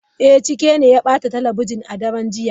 Eh, Chike ne ya bata talabijin a daren jiya.